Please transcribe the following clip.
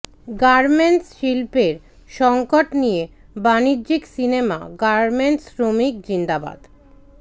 garments শিল্পের সঙ্কট নিয়ে বাণিজ্যিক সিনেমা গার্মেন্টস শ্রমিক জিন্দাবাদ